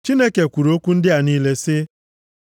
Chineke kwuru okwu ndị a niile sị: